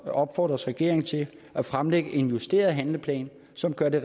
opfordres regeringen til at fremlægge en justeret handleplan som gør det